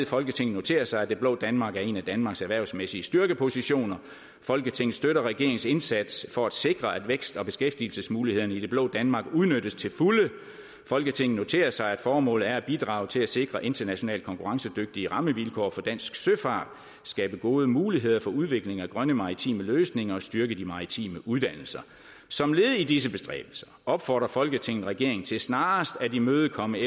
folketinget noterer sig at det blå danmark er en af danmarks erhvervsmæssige styrkepositioner folketinget støtter regeringens indsats for at sikre at vækst og beskæftigelsesmulighederne i det blå danmark udnyttes til fulde folketinget noterer sig at formålet er at bidrage til at sikre internationalt konkurrencedygtige rammevilkår for dansk søfart skabe gode muligheder for udvikling af grønne maritime løsninger og styrke de maritime uddannelser som led i disse bestræbelser opfordrer folketinget regeringen til snarest at imødekomme